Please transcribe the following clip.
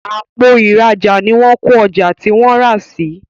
Àpò ìrajà ní wón ko ọjà tí wón rà sí